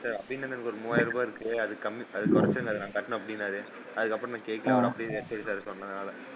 Sir அபிநன்க்கு ஒரு மூவாயிர ரூபாய் இருக்கு அதுக்கு கம்மி அதுக்கு குறைச்சு கட்டணும் அப்படின்னாரு அதுக்கு அப்புறம் நான் கேட்கலை அவர் அப்படின்னு சொல்லி சொன்னதால,